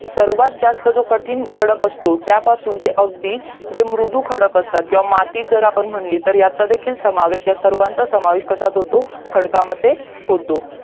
सर्वात जास्त जो कठीण खडक असतो त्यापासून ते अगदी जे मृदु खडक असतात मातीच जर आपण म्हणली तर याचपन समावेश आहे सर्वांचा समावेश कश्यात होतो खडकामध्ये होतो